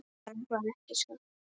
Það er bara ekki satt.